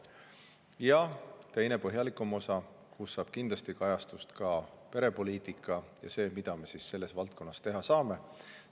Ja teises, põhjalikumas osas kindlasti kajastust ka perepoliitika ja see, mida me selles valdkonnas teha saame.